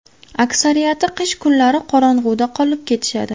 Aksariyati qish kunlari qorong‘uda qolib ketishadi.